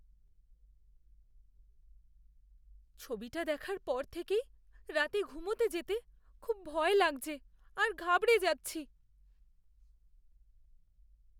ছবিটা দেখার পর থেকেই রাতে ঘুমোতে যেতে খুব ভয় লাগছে আর ঘাবড়ে যাচ্ছি।